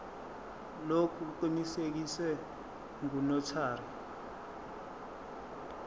lokhu kuqinisekiswe ngunotary